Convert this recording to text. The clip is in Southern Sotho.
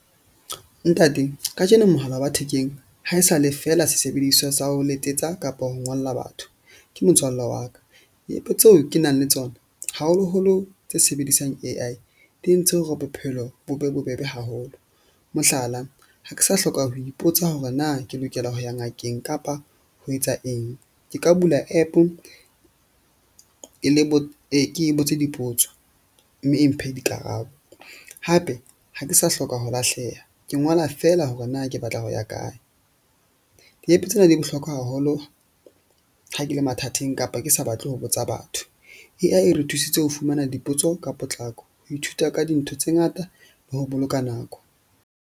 Ntate kajeno, mohala wa thekeng haesale feela sesebediswa sa ho letsetsa kapa ho ngolla batho. Ke motswalle wa ka di-app-e tseo ke nang le tsona, haholoholo tse sebedisang A_I di entse hore bophelo bo be bobebe haholo. Mohlala, ha ke sa hloka ho ipotsa hore na ke lokela ho ya ngakeng kapa ho etsa eng. Ke ka bula app-o e le bo ke e botse dipotso. Mme e mphe dikarabo hape ha ke sa hloka ho lahleha ke ngola fela hore na ke batla ho ya kae. Di-app-e tsena di bohlokwa haholo ha ke le mathateng kapa ke sa batle ho botsa batho. A_I e re thusitse ho fumana dipotso ka potlako, ho ithuta ka dintho tse ngata le ho boloka nako.